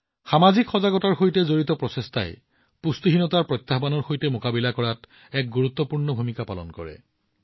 সামাজিক সজাগতাৰ সৈতে জড়িত প্ৰচেষ্টাই পুষ্টিহীনতাৰ প্ৰত্যাহ্বানৰ মোকাবিলা কৰাত এক গুৰুত্বপূৰ্ণ ভূমিকা পালন কৰে